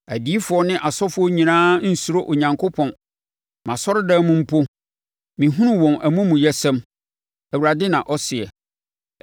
“Odiyifoɔ ne ɔsɔfoɔ nyinaa nsuro Onyankopɔn; mʼasɔredan mu mpo mehunu wɔn amumuyɛsɛm,” Awurade na ɔseɛ.